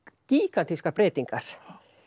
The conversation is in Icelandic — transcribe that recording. gígantískar breytingar